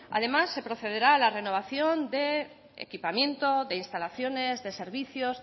además se procederá a la renovación de equipamiento de instalaciones de servicios